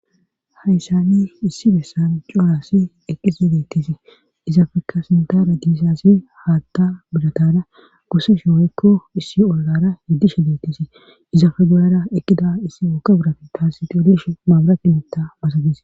hayssani issi beessan coorasi eqqise dettisi izafekka sintara giisasi haatta budatara goseshi oykko issi olgara heddishe dettisi izafe gudara eqqida issi ooka burafi kas xillish maabarati mootta basadis